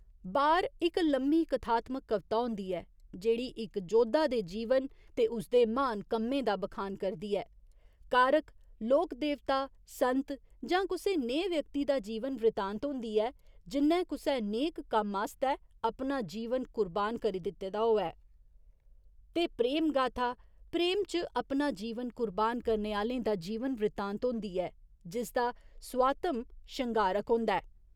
बार' इक लम्मी कथात्मक कविता होंदी ऐ जेह्ड़ी इक जोधा दे जीवन ते उसदे म्हान कम्में दा बखान करदी ऐ, कारक लोक देवता, संत जां कुसै नेहे व्यक्ति दा जीवन वृत्तांत होंदी ऐ जि'न्नै कुसै नेक कम्मै आस्तै अपना जीवन कुर्बान करी दित्ते दा होऐ ते प्रेम गाथा, प्रेम च अपना जीवन कुर्बान करने आह्‌लें दा जीवन वृत्तांत होंदी ऐ, जिसदा सुआत्म शंगारक होंदा ऐ।